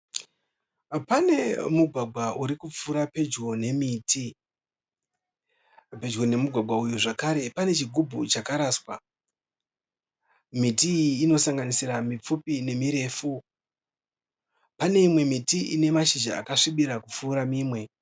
Pane mugwagwa uri kupfuura pedyo nemiti. Pedyo nemugwagwa uyu zvekare pane chigubhu chakaraswa. Miti iyi inosanganisira mipfupi nemirefu, pane imwe miti ine mashizha akasvibira kupfuura mimwe.